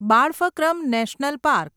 બાળફક્રમ national park